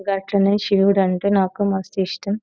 గట్లనే శివుడు అంటే నాకు మస్తు ఇష్టం.